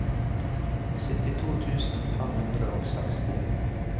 syttito tusen fem hundre og seksti